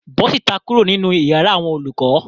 Bó síta kuro ninu iyàrá àwọn olùkọ.